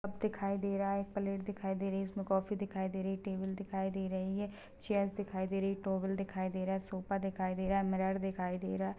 Cup दिखाई दे रहा है एक प्लेट दिखाई दे रही हैंइसमें काफ़ी दिखाई दे रही है टेबल दिखाई दे रही है चेयर्स दिखाई दे रही है टोवेल दिखाई दे रहा है सोफ़ा दिखाई दे रहा है मिरर दिखाई दे रहा हैं।